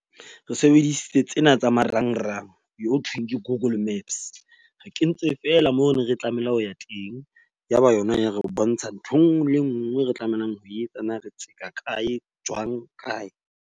Re sebedisitse tsena tsa marangrang ho thweng ke Google Maps. Re kentse feela moo re neng re tlamela ho ya teng. Yaba yona ya re bontsha nthwe nngwe le nngwe re tlamelang ho etsa. Na re kae, jwang, kae.